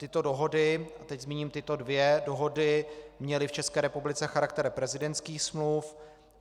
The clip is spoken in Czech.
Tyto dohody, a teď zmíním tyto dvě dohody, měly v České republice charakter prezidentských smluv.